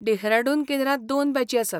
डेहराडून केंद्रांत दोन बॅची आसात.